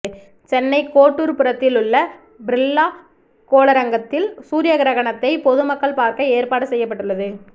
சென்னை கோட்டூர்புரத்திலுள்ள பிர்லா கோளரங்கத்தில் சூரிய கிரகணத்தை பொதுமக்கள் பார்க்க ஏற்பாடு செய்யப்பட்டுள்ளது